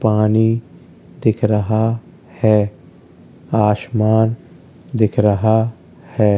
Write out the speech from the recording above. पानी दिख रहा है आसमान दिख रहा है।